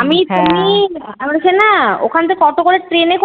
আমি তুমি আমরা সেই না ওখান থেকে অটো করে ট্রেনে করে